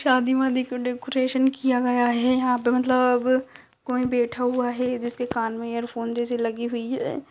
शादी वादी का डेकोरेशन किया गया है यहां पे मतलब कोई बेठा हुआ है जिसके कान में इयरफोन जैसी लगी हुई है।